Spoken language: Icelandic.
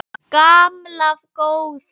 Gamla góða